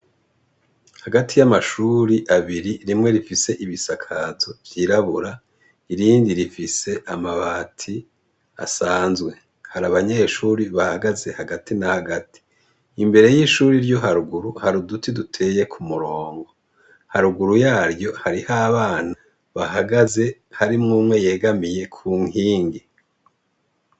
Hagati y'amashuri abiri rimwe rifise ibisakazo vyirabura irindi rifise amabati asanzwe hari abanyeshuri bahagaze hagati na hagati imbere y'ishuri ryo haruguru hari uduti duteye ku murongo haruguru yaryo hari ho a bana bahagae aze harimwo umwe yegamiye ku nkingi.